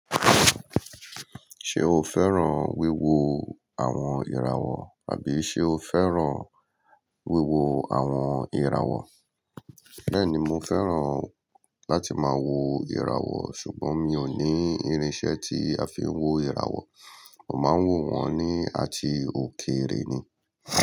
Ṣé o fẹ́ràn wíwo àwọn ìràwọ̀ tàbí ṣe o fẹ́ràn wíwo àwọn ìràwọ̀? Bẹ́ẹ̀ni mo fẹ́ràn láti máa wo ìràwọ̀ ṣùgbọ́n mi ò ní irinṣẹ́ tí a fi ń wo ìràwọ̀. Mo máa ń wo wọ́n ní àti òkèrè ni.